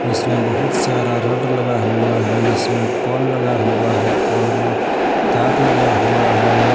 इसमें बहुत सारा रड लगा हुआ है इसमें पोल लगा हुआ है पोल में तार लगा हुआ है।